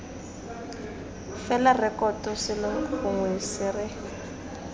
fela rekoto selo gongwe sere